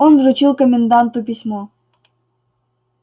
он вручил коменданту письмо